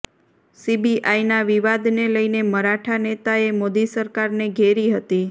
સીબીઆઈના વિવાદને લઈને મરાઠા નેતાએ મોદી સરકારને ઘેરી હતી